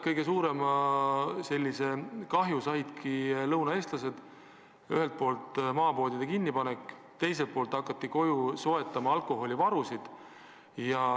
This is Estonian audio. Kõige suurem kahju on tabanud lõunaeestlasi: ühelt poolt maapoodide kinnipanek, teiselt poolt alkoholivarude koju soetamine.